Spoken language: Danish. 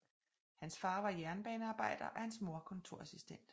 Hans far var jernbanearbejder og hans mor kontorassistent